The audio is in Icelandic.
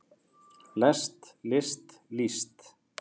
lest list líst